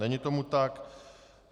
Není tomu tak.